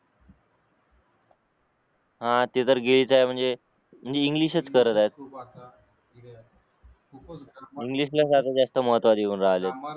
हा ते तर आहे म्हणजे इंग्लिश च करत आहेत इंग्लिश ला फार जास्त महत्त्व देऊन राहिले